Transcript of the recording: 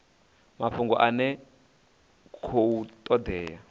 mafhungo ane a khou todea